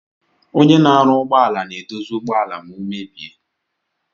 Onye na arụ ụgbọala na edozi ụgbọala ma omebie.